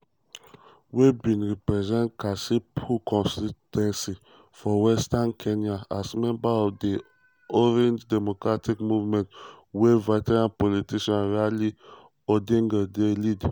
were bin represent kasipul constituency for western kenya as member of di orange democratic movement wey veteran politician raila odinga dey lead.